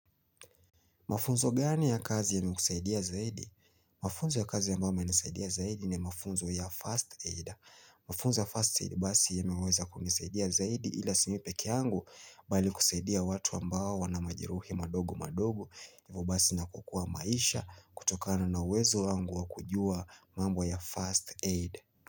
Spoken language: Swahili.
Mafunzo gani ya kazi ya imekusaidia zaidi? Mafunzo ya kazi ya ambayo yamenisaidia zaidi ni mafunzo ya first aid. Mafunzo ya first aid basi yameweza kunisaidia zaidi ila si mimi pekee yangu bali kusaidia watu ambao na majeruhi madogo madogo hivo basi na kukua maisha kutokana na uwezo wangu wakujua mambo ya first aid.